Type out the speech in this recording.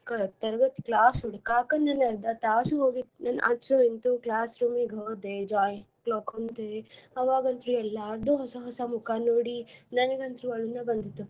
ಕ~ ತರಗತಿ class ಹುಡಕಾಕ ನಮ್ಗ ಅರ್ದಾ ತಾಸ್ ಹೋಗಿತ್ ಅಂತು ಇಂತೂ class room ಗ ಹೋದೆ ನಾ ಕುಂತೆ. ಅವಾಗಂತ್ರು ಎಲ್ಲಾರ್ದು ಹೊಸ ಹೊಸ ಮುಖ ನೋಡಿ ನನಗಂತ್ರು ಅಳುನ ಬಂದಿತ್ತಪ್ಪಾ